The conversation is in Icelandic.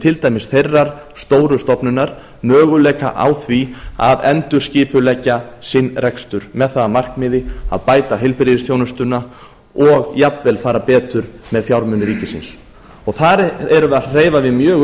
til dæmis þeirrar stóru stofnunar möguleika á því að endurskipuleggja sinn rekstur með það að markmiði að bæta heilbrigðisþjónustuna og jafnvel fara betur með fjármuni ríkisins þar erum við að hreyfa við mjög